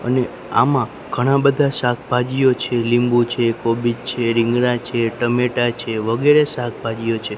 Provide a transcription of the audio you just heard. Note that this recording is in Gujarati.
અને આમાં ઘણા બધા શાકભાજીઓ છે લીંબુ છે કોબીજ છે રિંગરા છે ટમેટા છે વગેરે શાકભાજીઓ છે.